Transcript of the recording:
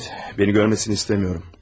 Evet, beni görmesini istemiyorum.